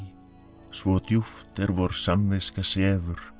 svo djúpt er vor sefur